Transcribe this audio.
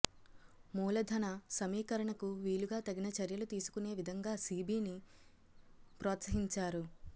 మూలధన సమీకరణకు వీలుగా తగిన చర్యలు తీసుకునే విధంగా సెబీని ప్రోత్సహించారు